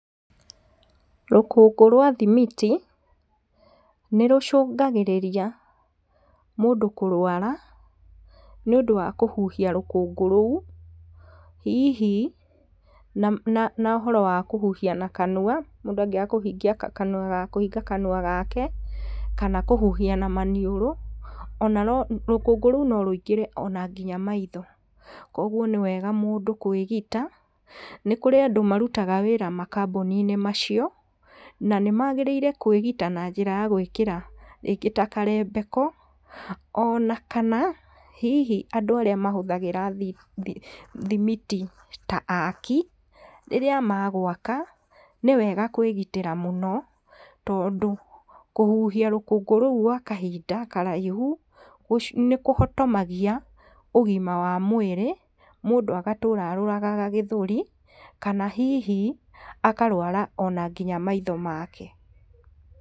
Rũkũngũ rwa thimiti, nĩ rũcũngagĩrĩria mũndũ kũrwara, nĩ ũndũ wa kũhuhia rũkũngũ rũu, hihi no nohoro wa kũhihia na kanua, mũndũ angĩaga kũhingia, kũhinga kanua gake, kana kũhuhia na maniũrũ, ona no, rũkũngũ rũu norũingĩre ona nginya maitho, koguo nĩ wega mũndũ kwĩgita, nĩ kũrĩ andũ marutaga wĩra makaboni-inĩ macio, na nĩ magĩrĩire kwĩgita na njĩra ya gwĩkĩra rĩngĩ ta karebeko, onaka hihi andũ arĩa mahũthagĩra thi thi thimiti ta aki, rĩrĩa magwaka, nĩ wega kwĩgitĩra mũno, tondũ kũhihia rũkũngũ rũu gwa kahinda karaihu, gũcu nĩ kũhotomagia ũgima wa mwĩrĩ, mũndũ agatũra arwaraga gĩthũri, kana hihi akarwara onanginya maitho make.